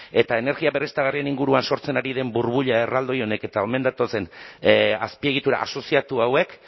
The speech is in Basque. eta energia berriztagarrien inguruan sortzen ari den burbuila erraldoi honek eta omen datozen azpiegitura asoziatua hauek